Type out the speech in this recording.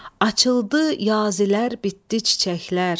Açıldı yazilər, bitdi çiçəklər.